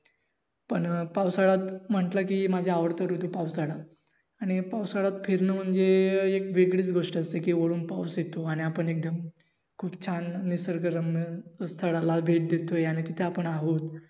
पण पावसाळ्यात म्हटलं कि माझा आवडता ऋतू पावसाळा आणि पावसाळ्यात फिरणं म्हणजे एक वेगळीच गोष्ट असते. कि वरून पाऊस येतो कि खूप छान निसर्ग रम्य स्थळाला भेट देतो याने तिथे आपण आहोत.